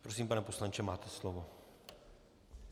Prosím, pane poslanče, máte slovo.